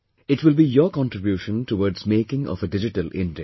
It will be your contribution towards making of a digital India